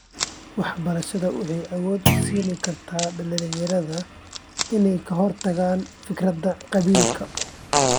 Waxbarashadu waxay awood u siin kartaa dhalinyarada inay ka hortagaan fikradaha qabiilka.